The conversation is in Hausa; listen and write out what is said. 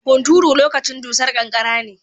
Hunturu lokacin dusar kankara ne.